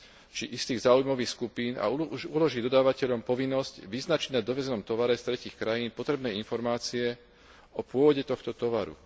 či istých záujmových skupín, a uloží dodávateľom povinnosť vyznačiť na dovezenom tovare z tretích krajín potrebné informácie o pôvode tohto tovaru.